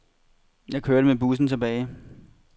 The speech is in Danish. Jeg kørte med bussen tilbage.